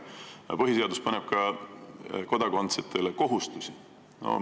Aga põhiseadus paneb kodanikele ka kohustusi.